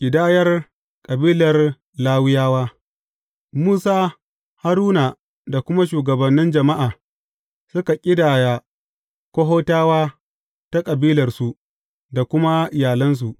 Ƙidayar kabilar Lawiyawa Musa, Haruna da kuma shugabannin jama’a, suka ƙidaya Kohatawa ta kabilarsu da kuma iyalansu.